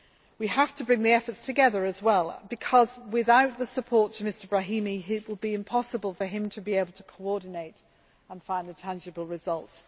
We have to bring the efforts together because without the support for Mr Brahimi it will be impossible for him to be able to coordinate and find the tangible results.